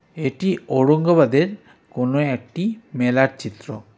এটি ঔরঙ্গাবাদের কোনা একটি মেলার চিত্র.